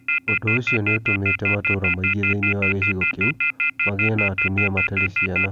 Ũndũ ũcio nĩ ũtũmĩte matũũra maingĩ thĩinĩ wa gĩcigo kĩu magĩe na atumia matarĩ ciana.